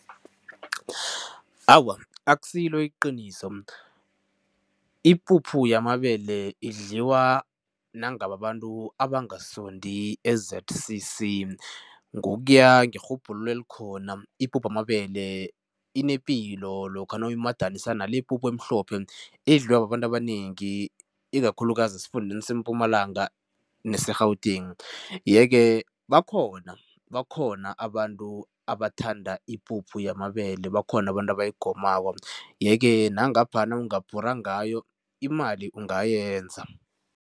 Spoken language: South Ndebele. Awa, akusilo iqiniso. Ipuphu yamabele idliwa nangababantu abangasondi eZ_C_C. Ngokuya ngerhubhululo elikhona, ipuphu yamabele inepilo lokha nawuyimadanisa nale ipuphu emhlophe edliwa babantu abanengi ikakhulukazi esifundeni seMpumalanga neseGauteng yeke bakhona, bakhona abantu abathanda ipuphu yamabele bakhona abantu abayigomako yeke nangapha nawungabhura ngayo, imali ungayenza.